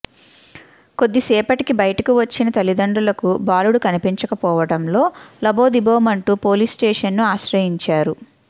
కొద్దిసేపటికి బయటకు వచ్చిన తల్లిదండ్రులకు బాలుడు కనిపించకపోవడంలో లబోదిబోమంటూ పోలీస్స్టేషన్ను ఆశ్రయించారు